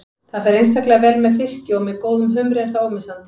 Það fer einstaklega vel með fiski og með góðum humri er það ómissandi.